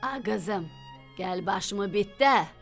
Ay qızım, gəl başımı bitdə.